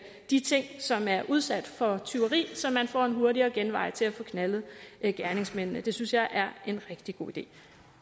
de ting som er udsat for tyveri så man får en hurtigere genvej til at få knaldet gerningsmændene det synes jeg er en rigtig god idé